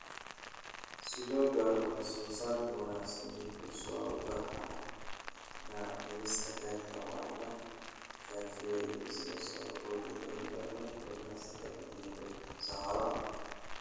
Si loo gaaro wax-soo-saar wanaagsan, dib-u-soo-baxa daaqsinta (xeerka) waa la khafiifiyey si loo hubiyo in laba ila sadah geedo saxaro ah.